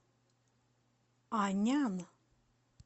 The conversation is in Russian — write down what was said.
анян